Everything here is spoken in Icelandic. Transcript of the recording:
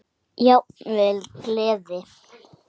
Jafnvel gleði.